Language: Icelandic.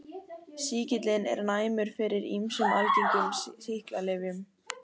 Sýkillinn er næmur fyrir ýmsum algengum sýklalyfjum.